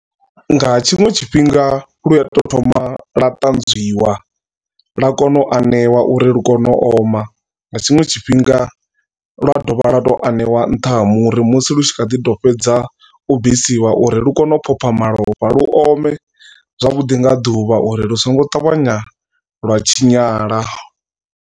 Nga tshiṅwe tshifhinga lu a to thoma lwa ṱanzwiwa lwa kona u aneiwa uri lu kone u oma nga tshiṅwe tshifhinga lwa dovha lwa to aneiwa nṱha ha muri musi lu tshi kha ḓi to fhedza u bvisiwa uri lu kone u phopha malofha lu ome zwavhuḓi nga ḓuvha uri lu songo ṱavhanya lwa tshinyala.